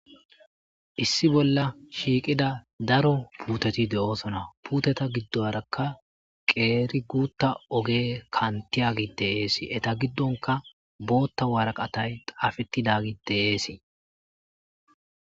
Issi bolla shiqqida daaro puuteti de'ossona puutet giddorakka qeri gutta oggey kantiyaggey de'es eeta giddonka boththa waaraqqatay xaafetidagey de'ess.